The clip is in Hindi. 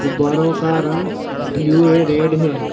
गुब्बारो का रंग ब्लू य रेड है।